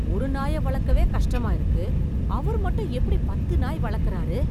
ஒரு நாய வளக்கவே கஷ்டமா இருக்கு, அவர் மட்டும் எப்படி பத்து நாய் வளர்க்குறாரு!